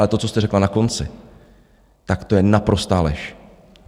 Ale to, co jste řekla na konci, tak to je naprostá lež!